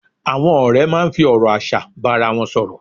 Àwọn ọ̀rẹ́ máa ń fi ọ̀rọ̀ aṣa bá ara wọn sọ̀rọ̀